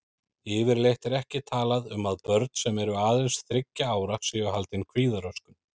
Yfirleitt er ekki talað um að börn sem eru aðeins þriggja ára séu haldin kvíðaröskun.